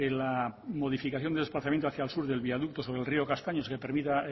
la modificación del desplazamiento hacia el sur del viaducto sobre el río castaños que permita